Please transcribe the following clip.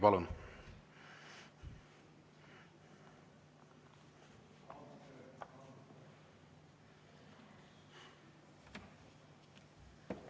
Palun!